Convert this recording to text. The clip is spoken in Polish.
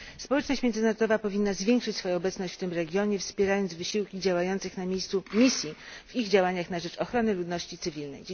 Społeczność międzynarodowa powinna zwiększyć obecność w tym regionie, wspierając wysiłki działających na miejscu misji w ich działaniach na rzecz ochrony ludności cywilnej.